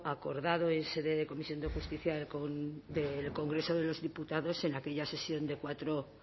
acordado en sede de comisión de justicia del congreso de los diputados en aquella sesión de cuatro